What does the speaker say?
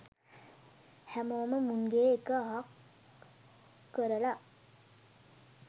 හැමෝම මුන්ගේ එක අහක් කරලා